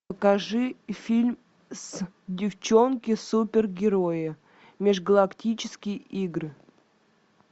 покажи фильм с девчонки супергерои межгалактические игры